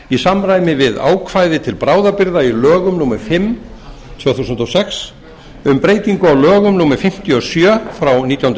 í samræmi við ákvæði til bráðabirgða í lögum númer fimm tvö þúsund og sex um breytingu á lögum númer fimmtíu og sjö nítján hundruð